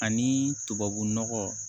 Ani tubabu nɔgɔ